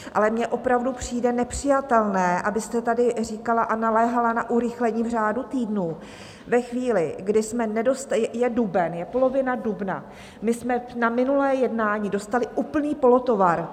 Ale mně opravdu přijde nepřijatelné, abyste tady říkala a naléhala na urychlení v řádu týdnů ve chvíli, kdy jsme nedostali... je duben, je polovina dubna, my jsme na minulé jednání dostali úplný polotovar.